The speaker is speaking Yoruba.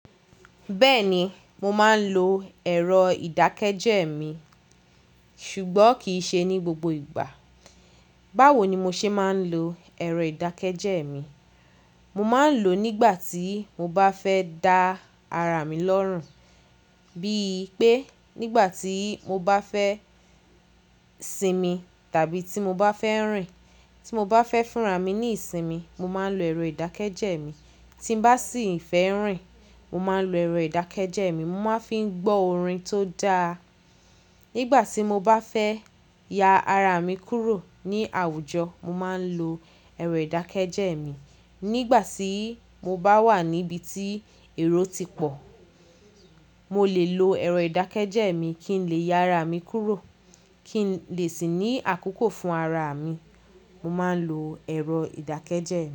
Bẹ́ẹ̀ ni, mo máa ń lo ẹ̀rọ ìdákẹ́jẹ́ mi, ṣùgbọ́n kì í ṣe ní gbogbo ìgbà. Báwo ni mo ṣe máa ń lo ẹ̀rọ ìdákẹ́jẹ́ mi? Mo máa ń lò ó nígbà tí mo bá fẹ́ da ara mi lọ́rùn, bíi pé nígbà tí mo bá fẹ́ sinmi, tàbí tí mo bá fẹ́ rìn. Tí mo bá fẹ́ fúnra mi ní ìsinmi, mo máa ń lo ẹ̀rọ ìdákẹ́jẹ́ mi. Tí m bá sì fẹ́ rìn, mo máa ń lo ẹ̀rọ ìdákẹ́jẹ́ mi. Mo máa ń fi gbọ́ orin tó dáa. Nígbà tí mo bá fẹ́ ya ara mi kúrò ní àwùjọ, mo máa ń lo ẹ̀rọ ìdákẹ́jẹ́ mi. Nígbà tí mo bá wà níbi tí èrò ti pọ̀, mo lè lo ẹ̀rọ ìdákẹ́jẹ́ mi kí n lè ya ara mi kúrò, kí n lè sì ní àkókò fún ara mi, mo máa ń lo ẹ̀rọ ìdákẹ́jẹ́.